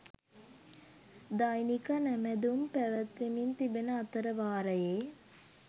දෛනික නැමැදුම් පැවැත්වෙමින් තිබෙන අතර වාරයේ